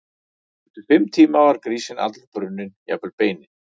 Eftir fimm tíma var grísinn allur brunninn, jafnvel beinin.